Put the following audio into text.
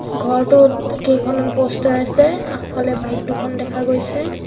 ঘৰটোত কেইখনমান প'ষ্টাৰ আছে আগফালে বাইক দুখন দেখা গৈছে।